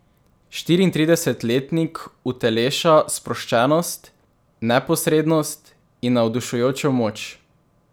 Štiriintridesetletnik uteleša sproščenost, neposrednost in navdušujočo moč.